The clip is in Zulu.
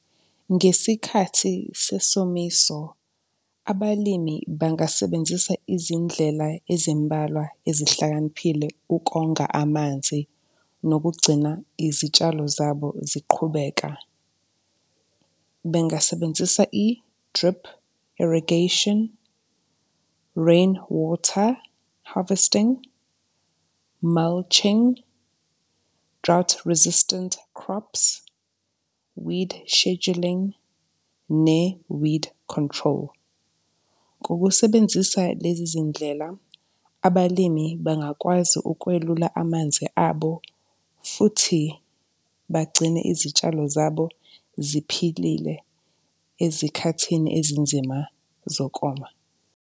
Ngesikhathi sesomiso, abalimi bangasebenzisa izindlela ezimbalwa ezihlakaniphile ukonga amanzi nokugcina izitshalo zabo ziqhubeka. Bengasebenzisa i-drip irrigation, rainwater harvesting, mulching, drought resistant crops, weed scheduling ne-weed control. Ngokusebenzisa lezi zindlela, abalimi bangakwazi ukwelula amanzi abo futhi bagcine izitshalo zabo ziphilile ezikhathini ezinzima zokoma.